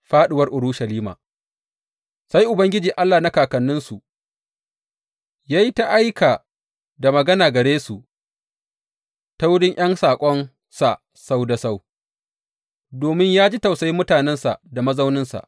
Fāɗuwar Urushalima Sai Ubangiji Allah na kakanninsu, ya yi ta aika da magana gare su ta wurin ’yan saƙonsa sau da sau, domin ya ji tausayi mutanensa da mazauninsa.